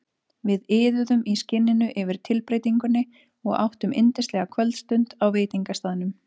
Við iðuðum í skinninu yfir tilbreytingunni og áttum yndislega kvöldstund á veitingastaðnum.